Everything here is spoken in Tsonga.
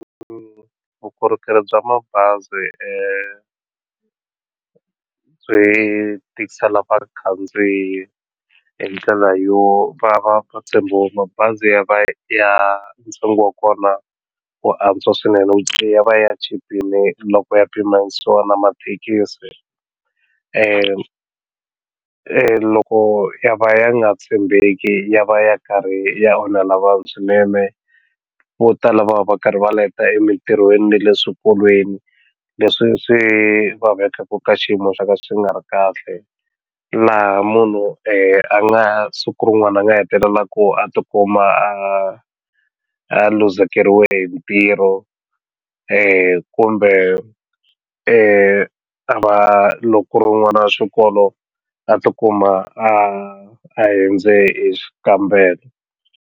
vukorhokeri bya mabazi byi tikisela vakhandziyi hi ndlela yo va va mabazi ya va ya ntsengo wa kona wu antswa swinene ya va ya chipile loko ya pimanyisiwa na mathekisi loko ya va ya nga tshembeki ya va ya karhi ya onhela vanhu swinene vo tala va va karhi va leta emitirhweni na le swikolweni leswi swi vavekaka ka xiyimo xa ka xi nga ri kahle laha munhu a nga siku rin'wana a nga hetelela ku a tikuma a a luzekeriwe hi ntirho kumbe a va loko ku ri n'wana wa xikolo a tikuma a hindze xikambelo.